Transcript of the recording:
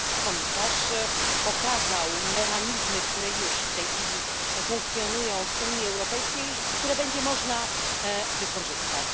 Komisarz pokazał mechanizmy, które już w tej chwili funkcjonują w Unii Europejskiej i które będzie można wykorzystać.